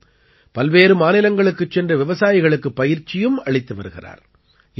மேலும் பல்வேறு மாநிலங்களுக்குச் சென்று விவசாயிகளுக்குப் பயிற்சியும் அளித்து வருகிறார்